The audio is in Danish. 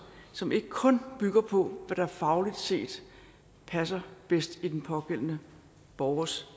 som ikke kun bygger på hvad der fagligt set passer bedst i den pågældende borgers